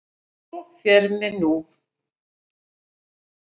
Svo fer mér nú.